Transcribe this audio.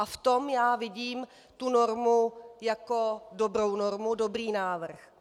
A v tom já vidím tu normu jako dobrou, jako dobrý návrh.